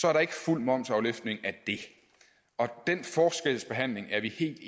er der ikke fuld momsafløftning af det den forskelsbehandling er vi helt